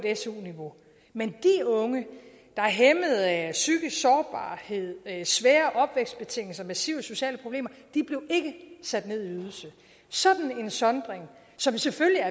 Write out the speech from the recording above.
su niveau men de unge der er hæmmede af psykisk sårbarhed svære opvækstbetingelser massive sociale problemer blev sat ned i ydelse sådan en sondring som selvfølgelig er